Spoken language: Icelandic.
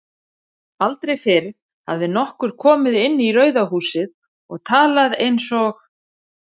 Aldrei fyrr hafði nokkur komið inn í Rauða húsið og talað einsog